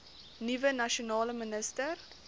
nuwe nasionale minister